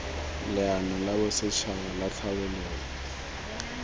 leano la bosetšhaba la tlhabololo